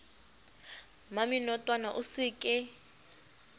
mmamenotwana towe o se ke